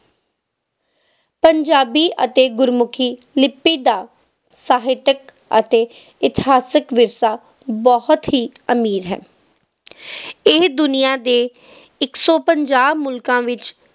ਪੰਜਾਬੀ ਅਤੇ ਗੁਰਮੁਖੀ ਲਿਪੀ ਦਾ ਸਾਹਿਤਿਕ ਅਤੇ ਇਤਿਹਾਸਿਕ ਵਿਰਸਾ ਬਹੁਤ ਹੀ ਅਮੀਰ ਹੈ ਇਹ ਦੁਨੀਆ ਦੇ ਇੱਕ ਸੌ ਪੰਜਾਹ ਮੁਲਕਾਂ ਵਿੱਚ